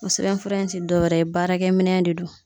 o sɛbɛnfura in ti dɔ wɛrɛ ye baarakɛminɛn de don.